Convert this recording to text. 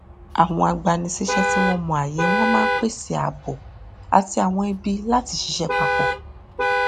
àwọn agbanisíṣẹ tí wọn mọ ààyè wọn máa n pèsè ààbò àti àwọn ibi láti ṣiṣẹ papọ